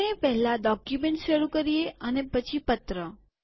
આપણે પહેલા ડોક્યુમેન્ટ શરુ કરીએ અને પછી પત્ર